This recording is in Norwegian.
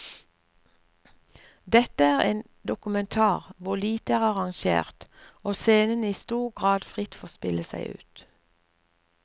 Dette er en dokumentar hvor lite er arrangert, og scenene i stor grad fritt får spille seg ut.